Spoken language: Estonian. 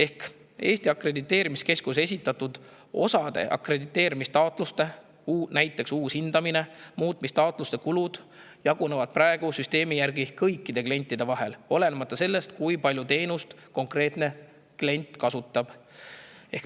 Osa Eesti Akrediteerimiskeskusele esitatud akrediteerimistaotluste, näiteks uue hindamise ja muutmise taotluste kulud jagunevad praeguse süsteemi järgi kõikide klientide vahel, olenemata sellest, kui palju konkreetne klient teenust kasutab.